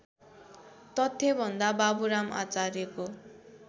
तथ्यभन्दा बाबुराम आचार्यको